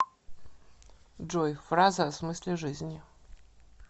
джой фразы о смысле жизни